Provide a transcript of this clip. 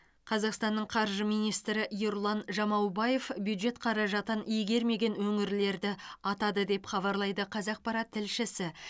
қазақстанның қаржы министрі ерұлан жамаубаев бюджет қаражатын игермеген өңірлерді атады деп хабарлайды қазақпарат тілшісі